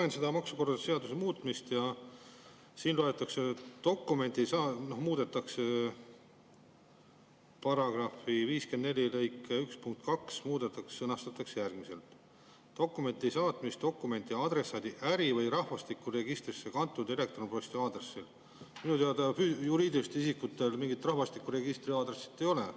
Loen seda maksukorralduse seaduse muutmist ja, et § 54 lõike 1 punkt 2 muudetakse ja sõnastatakse järgmiselt: "dokumendi saatmist dokumendi adressaadi äri- või rahvastikuregistrisse kantud elektronposti aadressil …" Minu teada juriidilistel isikutel mingit rahvastikuregistri aadressi ei ole.